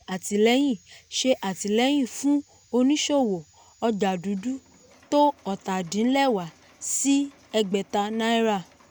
wọ́n ṣe àtìlẹ́yìn ṣe àtìlẹ́yìn fún oníṣòwò ọjà dúdú tó ọ́ta-din-lẹwá sí ẹgbẹ́ta náírà.